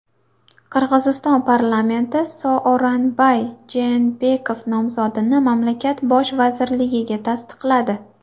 Qirg‘iziston parlamenti Sooronbay Jeenbekov nomzodini mamlakat bosh vazirligiga tasdiqladi.